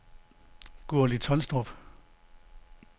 Gurli Tolstrup